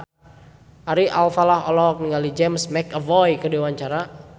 Ari Alfalah olohok ningali James McAvoy keur diwawancara